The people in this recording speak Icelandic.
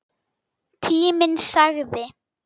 Tíminn sagði